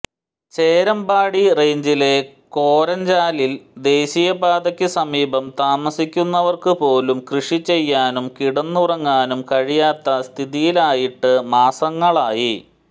ചേരമ്പാടി റേഞ്ചിലെ കോരഞ്ചാലിൽ ദേശീയപാതയ്ക്ക് സമീപം താമസിക്കുന്നവർക്കുപോലും കൃഷിചെയ്യാനും കിടന്നുറങ്ങാനും കഴിയാത്ത സ്ഥിതിയിലായിട്ട് മാസങ്ങളായി